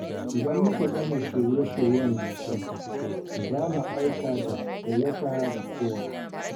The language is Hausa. Idan muka gama shirye-shiryen bikin, za mu aika da gayyata ga kowa.